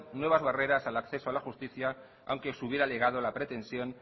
nuevas barreras al acceso a la justicia aunque se hubiera alegado la pretensión